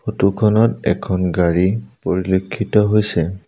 Photo খনত এখন গাড়ী পৰিলক্ষিত হৈছে।